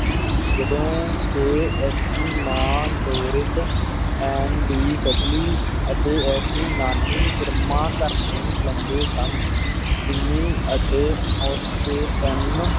ਜਦੋਂ ਕਿ ਇਸ ਦੀ ਮਾਂ, ਡੌਰਿਸ ਐਂਡੀ ਡਡਲੀ ਅਤੇ ਇਸ ਦੀ ਨਾਨੀ, ਇਰਮਾ, ਘਰ ਨੂੰ ਚਲਾਉਂਦੇ ਸਨ, ਜਿੰਮੀ ਅਤੇ ਉਸ ਦੇ ਤਿੰਨ